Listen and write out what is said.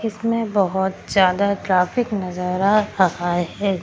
इसमें बहोत ज्यादा ट्रैफिक नजर आ रहा है।